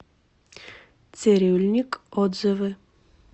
цирюльникъ отзывы